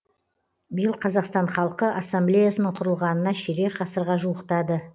биыл қазақстан халқы ассамблеясының құрылғанына ширек ғасырға жуықтады